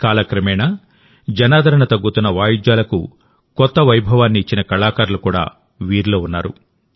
కాలక్రమేణా జనాదరణ తగ్గుతున్న వాయిద్యాలకు కొత్త వైభవాన్ని ఇచ్చిన కళాకారులు కూడా వీరిలో ఉన్నారు